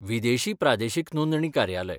विदेशी प्रादेशीक नोंदणी कार्यालय.